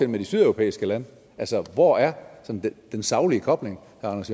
med de sydeuropæiske lande hvor er den saglige kobling